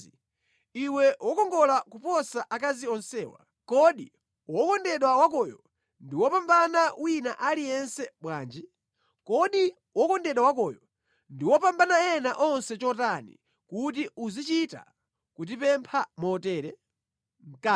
Iwe wokongola kuposa akazi onsewa, kodi wokondedwa wakoyo ndi wopambana wina aliyense bwanji? Kodi wokondedwa wakoyo ndi wopambana ena onse chotani kuti uzichita kutipempha motere?